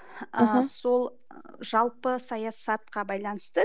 мхм сол жалпы саясатқа байланысты